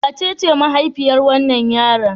Wacece mahaifiyar wannan yaron?